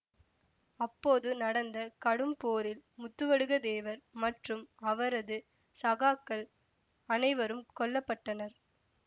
அப்போது நடந்த கடும் போரில் முத்துவடுக தேவர் மற்றும் அவரது சகாக்கள் அனைவரும் கொல்ல பட்டனர்